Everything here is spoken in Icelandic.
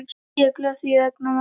Ég er glöð þín vegna mamma.